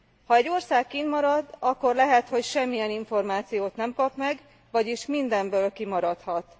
Ha egy ország kint marad, akkor lehet, hogy semmilyen információt nem kap meg, vagyis mindenből kimaradhat.